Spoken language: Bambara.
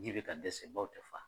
Yiri bɛ ka dɛsɛ bawo u tɛ fa